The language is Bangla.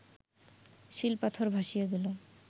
শিল পাথর ভাসিয়া গেল